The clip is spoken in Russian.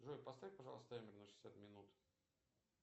джой поставь пожалуйста таймер на шестьдесят минут